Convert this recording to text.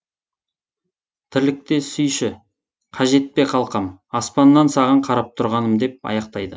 тірлікте сүйші қажет пе қалқам аспаннан саған қарап тұрғаным деп аяқтайды